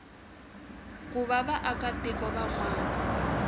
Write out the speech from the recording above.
ku va vaakatiko van wana